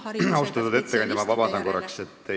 Austatud ettekandja, ma palun korra vabandust!